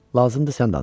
Lazımdır sən danış.